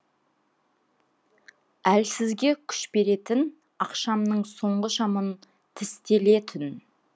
әлсізге күш беретін ақшамның соңғы шамын тістелетүн